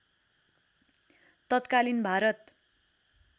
तत्कालीन भारत